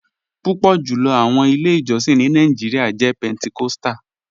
Pupọ julọ awọn ilẹ̀-ijọ̀sìn ni Nàìjíríà jẹ̀ Pentecostal.